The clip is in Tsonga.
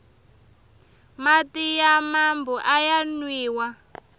mati ya mambu aya nwiwa